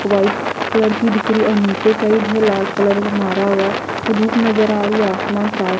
white colour की दिख रही और नीचे साइड है लाल कलर मारा हुआ और धूप नजर आ रही है आसमान साफ --